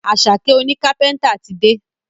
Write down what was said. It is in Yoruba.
Asake òní kápẹ́ńtà tí dé.